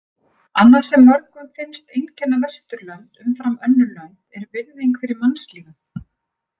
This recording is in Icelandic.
Annað sem mörgum finnst einkenna Vesturlönd umfram önnur lönd er virðing fyrir mannslífum.